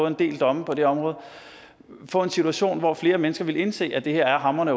en del domme på det område få en situation hvor flere mennesker ville indse at det her er hamrende